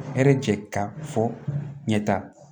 Hɛrɛ jɛ ka fɔ ɲɛta